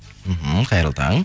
мхм қайырлы таң